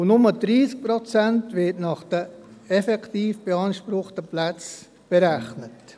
Nur 30 Prozent werden nach den effektiv beanspruchten Plätzen berechnet.